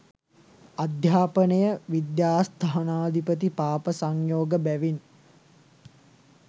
අධ්‍යාපනය විද්‍යාස්ථානාධිපති පාප සංයෝග බැවින්